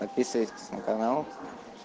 подписывайтесь на канал